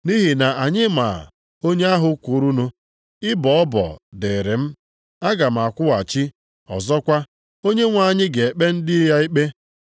Nʼihi na anyị maa onye ahụ kwurunụ, “Ịbọ ọbọ dịrị m, aga m akwụghachi,” + 10:30 \+xt Dit 32:35\+xt* ọzọkwa, “Onyenwe anyị ga-ekpe ndị ya ikpe.” + 10:30 \+xt Dit 32:36; Abụ 135:14\+xt*